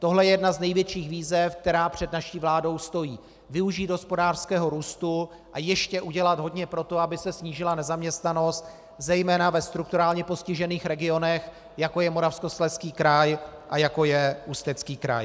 Tohle je jedna z největších výzev, která před naší vládou stojí - využít hospodářského růstu a ještě udělat hodně pro to, aby se snížila nezaměstnanost zejména ve strukturálně postižených regionech, jako je Moravskoslezský kraj a jako je Ústecký kraj.